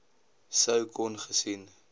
sou kon gesien